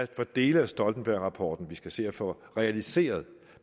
dele af stoltenbergrapporten vi skal se at få realiseret